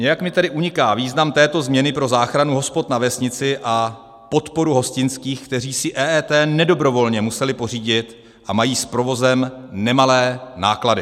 Nějak mi tedy uniká význam této změny pro záchranu hospod na vesnici a podporu hostinských, kteří si EET nedobrovolně museli pořídit a mají s provozem nemalé náklady.